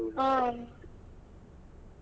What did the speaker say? ಹ್ಮ್.